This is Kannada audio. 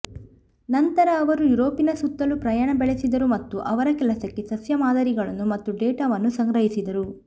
ನಂತರ ಅವರು ಯೂರೋಪಿನ ಸುತ್ತಲೂ ಪ್ರಯಾಣ ಬೆಳೆಸಿದರು ಮತ್ತು ಅವರ ಕೆಲಸಕ್ಕೆ ಸಸ್ಯ ಮಾದರಿಗಳನ್ನು ಮತ್ತು ಡೇಟಾವನ್ನು ಸಂಗ್ರಹಿಸಿದರು